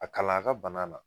A kalan a ka bana na.